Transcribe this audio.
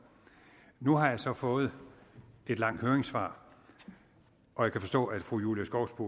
nu har jeg så fået et langt høringssvar og jeg kan forstå at fru julie skovsby